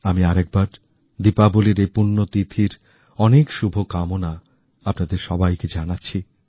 আমি আরেকবার দীপাবলির এই পুণ্যতিথির অনেক শুভকামনা আপনাদের সবাইকে জানাচ্ছি